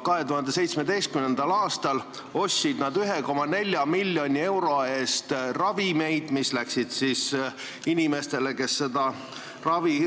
2017. aastal ostsid nad 1,4 miljoni euro eest ravimeid, mis läksid inimestele, kes seda ravi